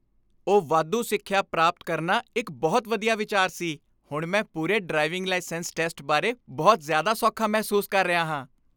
ਉਹ ਵਾਧੂ ਸਿੱਖਿਆ ਪ੍ਰਾਪਤ ਕਰਨਾ ਇੱਕ ਬਹੁਤ ਵਧੀਆ ਵਿਚਾਰ ਸੀ! ਹੁਣ ਮੈਂ ਪੂਰੇ ਡਰਾਈਵਿੰਗ ਲਾਇਸੈਂਸ ਟੈਸਟ ਬਾਰੇ ਬਹੁਤ ਜ਼ਿਆਦਾ ਸੌਖਾ ਮਹਿਸੂਸ ਕਰ ਰਿਹਾ ਹਾਂ।